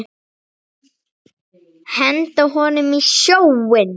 Henda honum í sjóinn!